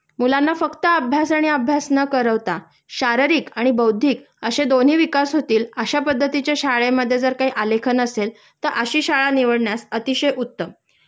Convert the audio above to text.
मुलांना फक्त अभ्यास आणि अभ्यास न करवता शारीरिक आणि बौद्धिक अशे दोन्ही विकास होतील अश्या पद्धतीच्या शाळेमध्ये जर काही आलेखन असेल तर अशी शाळा निवडण्यास अतिशय उत्तम.